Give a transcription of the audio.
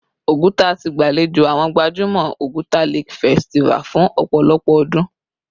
Oguta ti gbalejo awọn gbajumọ Oguta Lake Festival fun opolopo odun